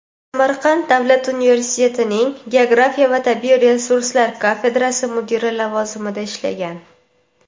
Samarqand davlat universitetining geografiya va tabiiy resurslar kafedrasi mudiri lavozimida ishlagan.